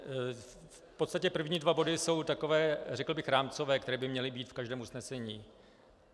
V podstatě první dva body jsou takové, řekl bych, rámcové, které by měly být v každém usnesení.